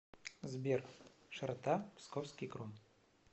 сбер широта псковский кром